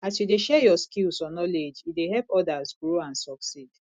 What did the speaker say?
as you dey share yur skills or knowledge e dey help odas grow and succeed